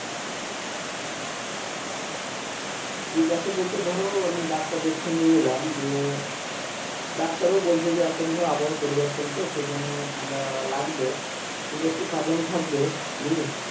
ঠিকাছে বলতে ধরো আমি ডাক্তার দেখিয়ে নিয়ে এলাম দিয়ে ডাক্তার ও বলছে এখন ধরো আবহাওয়ার পরিবর্তন তো সেইজন্য ঠান্ডা লাগবে কিন্তু একটু সাবধানও থাকবে বুঝলে?